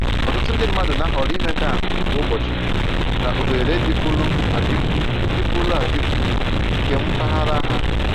Ọtụtụ ndị mmadụ na-ahọrọ imega ahụ kwa ụbọchị na oghere dịpụrụ adịpụ dịpụrụ adịpụ nke mpaghara ha